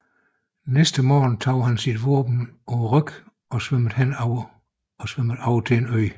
Næste morgen tog han sine våben på ryggen og svømmede over til en ø